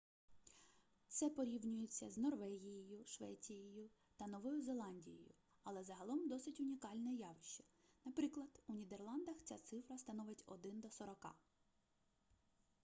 це порівнюється з норвегією швецією та новою зеландією але загалом досить унікальне явище наприклад у нідерландах ця цифра становить один до сорока